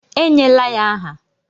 E nyela ya aha!